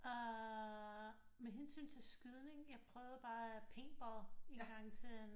Med hensyn til skydning jeg prøvede bare paintball engang til